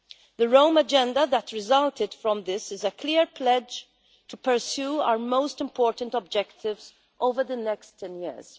The Rome Agenda that resulted from this is a clear pledge to pursue our most important objectives over the next ten years.